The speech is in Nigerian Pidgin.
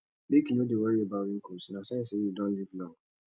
make you no dey worry about wrinkles na sign say you don live long